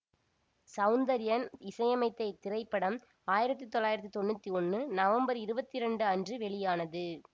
சௌந்தர்யன் இசையமைத்த இத்திரைப்படம் ஆயிரத்தி தொள்ளாயிரத்தி தொன்னூற்தி ஒன்று நவம்பர் இருபத்தி இரண்டு அன்று வெளியானது